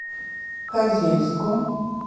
козельску